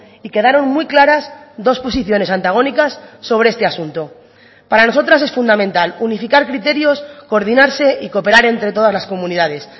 y quedaron muy claras dos posiciones antagónicas sobre este asunto para nosotras es fundamental unificar criterios coordinarse y cooperar entre todas las comunidades